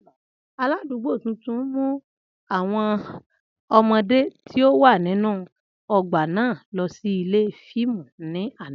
Aladugbo tuntun mu awọn ọmọde ti o wa ninu ogba naa lọ si ile fiimu ni ana.